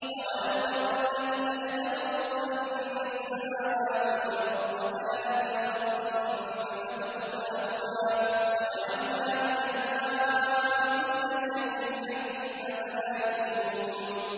أَوَلَمْ يَرَ الَّذِينَ كَفَرُوا أَنَّ السَّمَاوَاتِ وَالْأَرْضَ كَانَتَا رَتْقًا فَفَتَقْنَاهُمَا ۖ وَجَعَلْنَا مِنَ الْمَاءِ كُلَّ شَيْءٍ حَيٍّ ۖ أَفَلَا يُؤْمِنُونَ